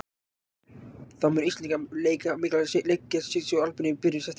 Þá mun Ísland leika mikilvæga leiki gegn Sviss og Albaníu í byrjun september.